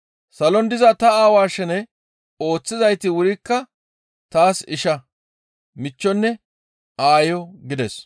Salon diza ta Aawa shene ooththizayti wurikka taas isha, michchonne aayo» gides.